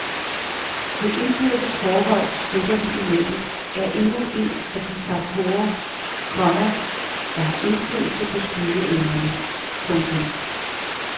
Det indbyrdes forhold skytterne imellem er endnu en af de faktorer, komma der har indflydelse på skydeevnerne. punktum